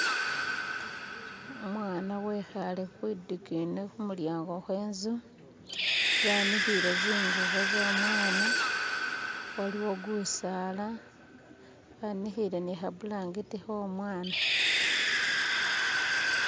Umwana wekhaale kwidingini khumulyango kwe nzu banikhile zingubo zo mwana waliwo gusaala banikile ni kha bulangiti kho'omwana.